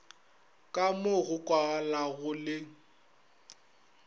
ka mo go kwagalago le